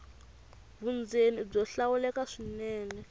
vundzeni i byo hlawuleka swinene